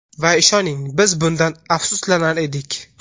Va ishoning, biz bundan afsuslanardik.